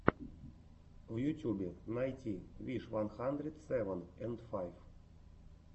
в ютюбе найти виш ван хандрит севен энд файв